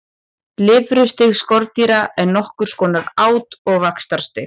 Lirfustig skordýra er nokkurs konar át- og vaxtarstig.